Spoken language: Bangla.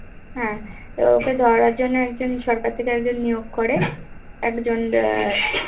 হা তো ওকে ধরার জন্য একজন সরকার থেকে একজন নিয়োগ করে একজন আহ